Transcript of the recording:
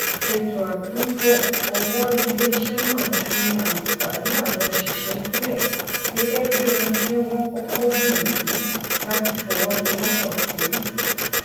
ètò àtúnbọ owó iléiṣẹ náà fi àǹfààní àwọn òṣìṣẹ sílẹ gẹgẹ bí ohun tí wọn kọkọ gbìyànjú láti fọwọsowọpọ sí